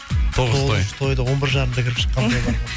тоғыз тойды он бір жарымда кіріп шыққан